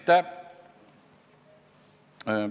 Aitäh!